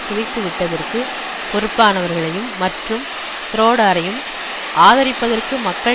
சிதைத்துவிட்டதற்கு பொறுப்பானவர்களையும் மற்றும் ஷ்ரோடரையும் ஆதரிப்பதற்கு மக்கள்